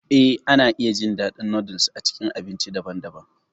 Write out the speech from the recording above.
Eh, ana iya jin daɗin noodles a cikin abinci daban-daban.